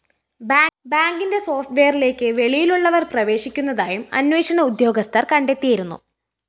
ബാങ്കിന്റെ സോഫ്റ്റ്‌ വെയറിലേക്ക് വെളിയിലുള്ളവര്‍ പ്രവേശിക്കുന്നതായും അന്വേഷണ ഉദ്യോഗസ്ഥര്‍ കണ്ടെത്തിയിരുന്നു